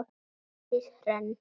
Eydís Hrönn.